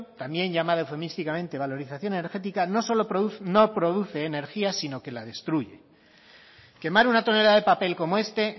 también llamada eufemísticamente valorización energética no solo no produce energía sino que la destruye quemar una tonelada de papel como este